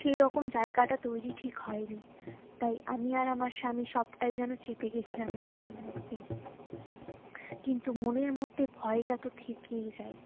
সেইরকম জায়গাটা তৈরী ঠিক হয়নি তাই আমি আর আমার স্বামী সবটাই যেন চেপে গিয়েছিলাম নিজেদের মধ্যে কিন্তু মনের মধ্যেই ভয়ে তাতো থেকেই যায়